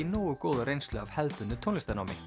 nógu góða reynslu af hefðbundnu tónlistarnámi